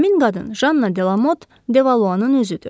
Həmin qadın Janna Delamot Devaluanın özüdür.